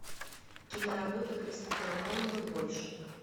киноработа кристофера нолана больше